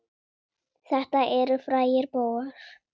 Þetta eru frægir bófar.